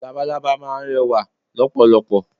Labalábá máa n rẹwà lọ́pọ̀lọpọ̀